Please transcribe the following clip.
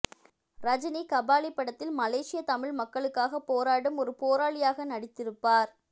ரஜினி கபாலி படத்தில் மலேசியா தமிழ் மக்களுக்காக போராடும் ஒரு போராளியாக நடித்திருப்பார்